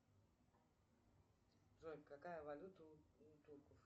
джой какая валюта у турков